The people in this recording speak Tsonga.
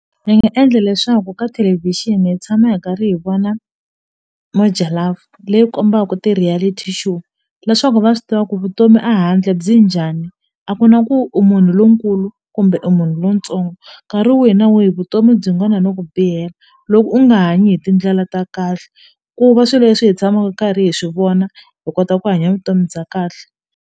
Ni nga endla leswaku ka thelevishini hi tshama hi karhi hi vona Moja Love leyi kombaka ti-reality show leswaku va swi tiva ku vutomi a handle byi njhani a ku na ku u munhu lonkulu kumbe u munhu lontsongo nkarhi wihi na wihi vutomi byi nga na no ku bihela loko u nga hanyi hi tindlela ta kahle ku va swilo leswi hi tshamaku karhi hi swivona hi kota ku hanya vutomi bya kahle.